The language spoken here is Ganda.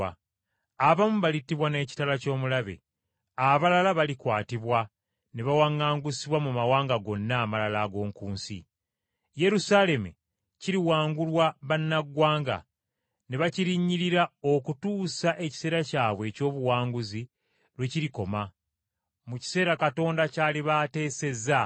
Abamu balittibwa n’ekitala ky’omulabe, abalala balikwatibwa ne bawaŋŋangusibwa mu mawanga gonna amalala ag’oku nsi. Yerusaalemi kiriwangulwa bannaggwanga ne bakirinnyirira okutuusa ekiseera kyabwe eky’obuwanguzi lwe kirikoma mu kiseera Katonda ky’aliba ateesezza.”